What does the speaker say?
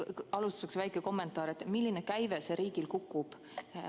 Alustuseks väike kommentaar, et milline käive riigil kukub.